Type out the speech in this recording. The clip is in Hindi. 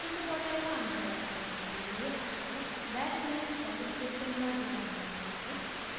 इस tutorial का अनुकरण करने के लिए आपको bash में shell scripting का ज्ञान होना चाहिए